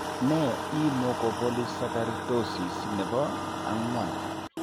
Nee l Mucopolysaccharidosis nebo ang'wan?